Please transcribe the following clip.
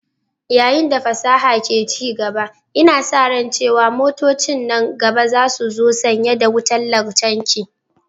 Yayin da fasahar ke ci gaba, ana sa ran cewa motocin nan gaba za su zo sanye da wutar lantarki.